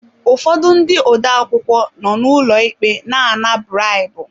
Ụfọdụ ndị odeakwụkwọ nọ n'ụlọ ikpe na ana bribu.